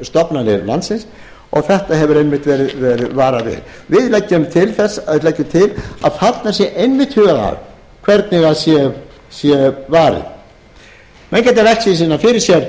menntastofnanir landsins og þessu hefur einmitt verið varað við við leggjum til að þarna sé einmitt hugað að hvernig sé varið menn geta velt því síðan fyrir sér